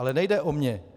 Ale nejde o mě.